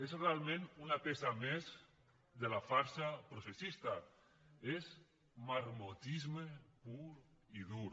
és realment una peça més de la farsa processista és marmotisme pur i dur